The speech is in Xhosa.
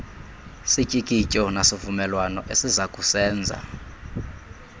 sityikityo nasivumelwano esizakusenza